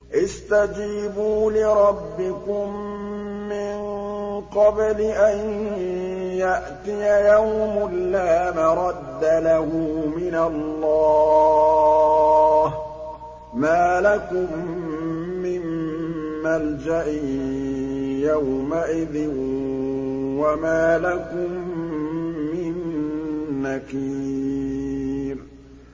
اسْتَجِيبُوا لِرَبِّكُم مِّن قَبْلِ أَن يَأْتِيَ يَوْمٌ لَّا مَرَدَّ لَهُ مِنَ اللَّهِ ۚ مَا لَكُم مِّن مَّلْجَإٍ يَوْمَئِذٍ وَمَا لَكُم مِّن نَّكِيرٍ